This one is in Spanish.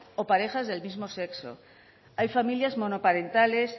o parejas del mismo sexo hay familias monoparentales